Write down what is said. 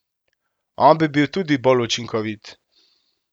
On bi bil tudi bolj učinkovit.